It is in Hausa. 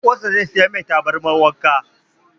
Ɗan uwan sa ze saya masa tabarmar wanka